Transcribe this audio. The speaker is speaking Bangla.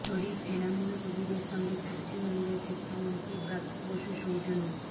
শরীফ এনামুল কবিরের সঙ্গে পশ্চিমবঙ্গের শিক্ষামন্ত্রী ব্রাত্য বসু সৌজন্য